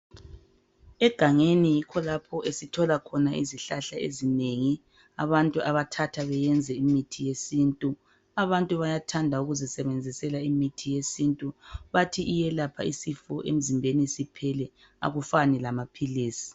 Egangeni yikho lapho esithola khona izihlahla ezinengi abantu abathatha beyenze imithi yesintu abantu bayathanda ukuzisebenzisela imithi yesintu bathi iyelapha isifo emzimbeni siphele akufani lamaphilizi.